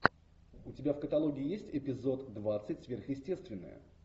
у тебя в каталоге есть эпизод двадцать сверхъестественное